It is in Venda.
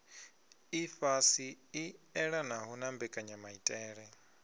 ifhasi i elanaho na mbekanyamaitele